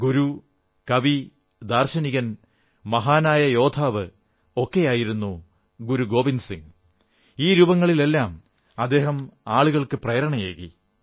ഗുരു കവി ദാർശനികൻ മഹാനായ യോദ്ധാവ് ഒക്കെയായിരുന്ന ഗുരു ഗോവിന്ദ് സിംഗ് ഈ രൂപങ്ങളിലെല്ലാം ആളുകൾക്ക് പ്രേരണയേകി